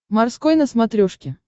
морской на смотрешке